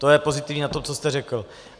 To je pozitivní na tom, co jste řekl.